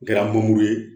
N kɛra ye